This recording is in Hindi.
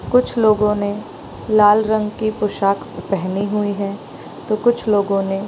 कुछ लोगों ने लाल रंग की पोशाक पहनी हुई है तो कुछ लोगों ने --